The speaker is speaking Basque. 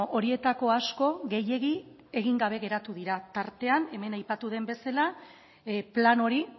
horietako asko gehiegi egin gabe geratu dira tartean hemen aipatu den bezala plan hori